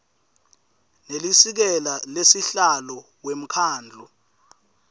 nelisekela lasihlalo wemkhandlu